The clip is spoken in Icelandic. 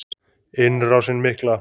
Innrásin mikla.